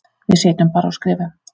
Við sitjum bara og skrifum.